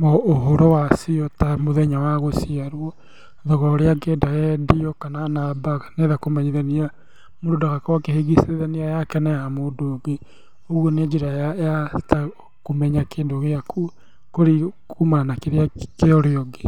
na ũhoro wacio ta mũthenya wa gũciarwo, thogora ũrĩa angĩenda yendio kana namba, kana enda kũmenyithania mũndũ ndagakorwo akĩhĩngĩcithania yake na ya mũndũ ũngĩ. Ũguo nĩ njĩra ya ta kũmenya kĩndũ gĩaku kũmana na kĩrĩa kĩa ũrĩa ũngĩ.